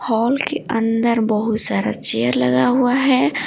Hall के अंदर बहुत सारा चेयर लगा हुआ है ।